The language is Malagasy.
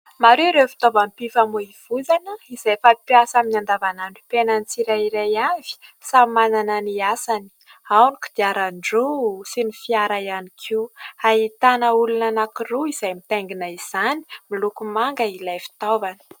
Maro ireo fitaoval-pifamoivoizana izay fampiasa amin'ny andavanandrom-piainan'ny tsirairay avy samy manana ny asany. Ao ny kodiaran-droa sy ny fiara ihany koa ; ahitana olona anankiroa izay mitaingina izany. Miloko manga ilay fitaovana.